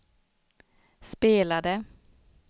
spelade